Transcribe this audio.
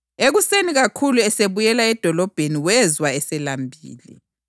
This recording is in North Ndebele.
Ekuseni kakhulu esebuyela edolobheni wezwa eselambile.